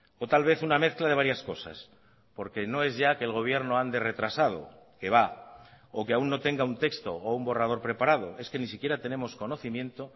o tal vez una mezcla de varias cosas porque no es ya que el gobierno ande retrasado que va o que aún no tenga un texto o un borrador preparado es que ni siquiera tenemos conocimiento